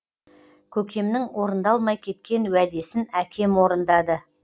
көкемнің орындалмай кеткен уәдесін әкем орындады